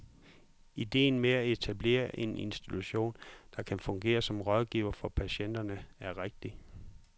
Ideen med at etablere en institution, der kan fungere som rådgiver for patienterne, er rigtig.